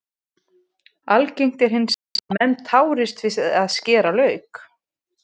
Algengt er hins vegar að menn tárist við að skera lauk.